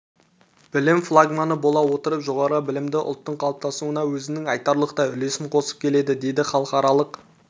білім флагманы бола отырып жоғары білімді ұлттың қалыптасуына өзінің айтарлықтай үлесін қосып келеді деді халықаралық